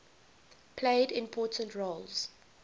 played important roles